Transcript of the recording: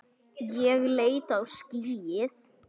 Ég leit á skýið.